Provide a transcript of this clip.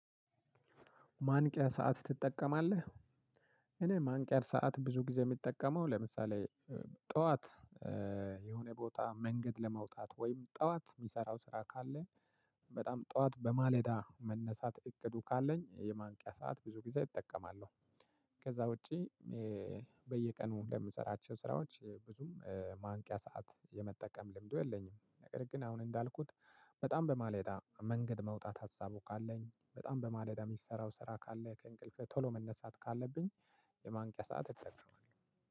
ማንቂያ ሰዓት ትጠቀማለህ? እኔ ማንቂያ ሰዓት ብዙ ጊዜ የሚጠቀመው ለምሳሌ ጠዋት የሆነ ቦታ መንገድ ለመውጣት ወይም ጠዋት የምሰራው ስራ ካለ በጣም ጠዋት በማለዳ መነሳት እቅዱ ካለኝ የማንቂያ ሰዓት ብዙ ጊዜ እጠቀማለሁ። ከዛ ውጪ በየቀኑ ለምሰራቸው ስራዎች ብዙም ማንቂያ ሰዓት የመጠቀም ልምዱ የለኝም። ነገር ግን አሁን እንዳልኩት በጣም በማለዳ መንገድ መውጣት ሀሳቡ ካለኝ በጣም በማለዳ የምሰራው ስራ ካለ ከእንቅልፍ ቶሎ መነሳት ካለብኝ የማንቂያ ሰዓት እጠቀማለሁ።